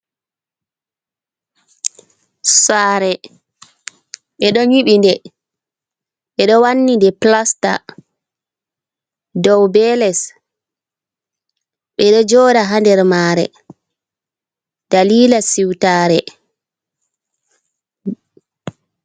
Sare ɓe ɗon yiɓi nde, ɓeɗo wanni nde plasta, dow be les bedo joɗa ha nder mare, dalila siutare.